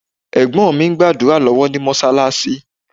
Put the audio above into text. Ẹ̀gbọ́n mi ń gbàdúrà lọ́wọ́ ní Mọ́ṣáláṣí